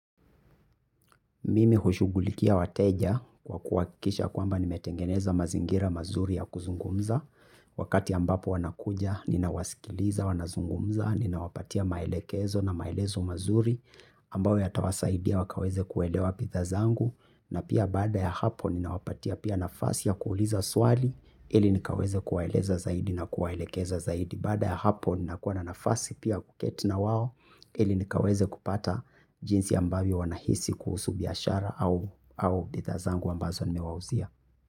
Mimi hushugulikia wateja kwa kuwakisha kwamba nimetengeneza mazingira mazuri ya kuzungumza. Wakati ambapo wanakuja ninawasikiliza, wanazungumza, ninawapatia maelekezo na maelezo mazuri ambawo yatawasaidia wakaweze kuelewa pitha zangu na pia bada ya hapo ninawapatia pia nafasi ya kuuliza swali. Ili nikaweze kuwaeleza zaidi na kuwaelekeza zaidi. Bada ya hapo nina kuwa na nafasi pia kuketi na wao ili nikaweze kupata jinsi ambavio wanahisi kuhusu biashara. Au bidhaa zangu ambazo nimewauzia.